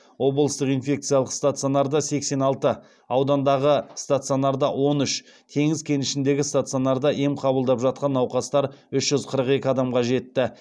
облыстық инфекциялық стационарда сексен алты аудандағы стационарда он үш теңіз кенішіндегі стационарда ем қабылдап жатқан науқастар үш жүз қырық екі адамға жетті